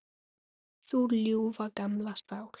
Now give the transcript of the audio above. Þú ljúfa, gamla sál.